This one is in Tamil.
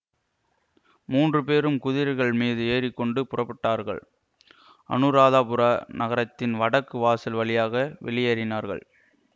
மூன்றுபேரும் குதிரைகள் மீது ஏறிக்கொண்டு புறப்பட்டார்கள் அநுராதபுர நகரத்தின் வடக்கு வாசல் வழியாக வெளியேறினார்கள்